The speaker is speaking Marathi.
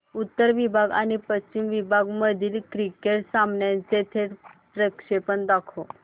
उत्तर विभाग आणि पश्चिम विभाग मधील क्रिकेट सामन्याचे थेट प्रक्षेपण दाखवा